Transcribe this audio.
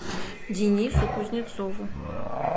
денису кузнецову